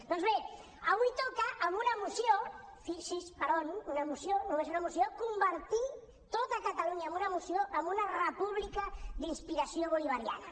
doncs bé avui toca amb una moció fixi’s per on una moció només una moció convertir tot catalunya amb una moció en una república d’inspiració bolivariana